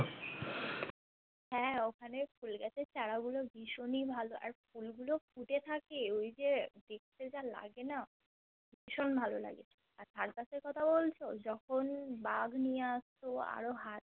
হ্যা ঐখানে ফুল গাছের ছাড়া গুলো বিশনই ভালো আর ফুল গুলো ফুটে থাকে ঐযে দেখতে যা লাগে না বিশন ভালো লাগে আর circus এর কথা বোলছো যখন বাগ নিয়ে আস্ত আরো হাতি